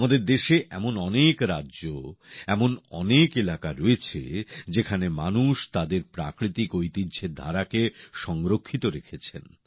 আমাদের দেশে এমন অনেক রাজ্য এমন অনেক এলাকা রয়েছে যেখানে মানুষ তাদের প্রাকৃতিক ঐতিহ্যের ধারাকে সংরক্ষিত রেখেছেন